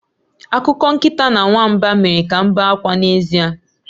Akụkọ nkịta na nwamba mere ka m bee akwa n'ezie